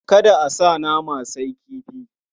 Kada a sa nama, sai kifi.